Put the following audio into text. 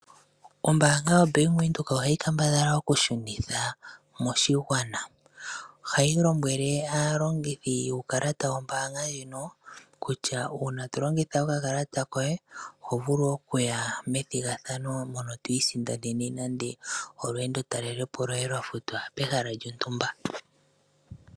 Oombaanga yoBank Windhoek ohayi kambadhala okushunitha moshigwana, ohayi lombwele aalongithi wuukalata wombaanga ndjino, kutya uuna tolongitha okakalata koye oho vulu okuya methigathano mono twiisindanene nande olweendo talelepo lwoye lwafutwa pehala lyontumba.